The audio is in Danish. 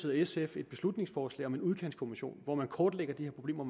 og sf et beslutningsforslag om en udkantskommission hvor man kortlægger de her problemer